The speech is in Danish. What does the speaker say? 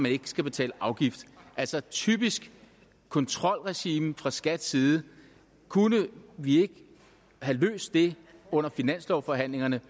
ikke skal betale afgift altså et typisk kontrolregime fra skats side kunne vi ikke have løst det under finanslovsforhandlingerne